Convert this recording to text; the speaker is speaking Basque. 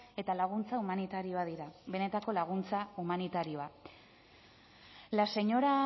eta laguntza humanitarioa dira benetako laguntza humanitarioa la señora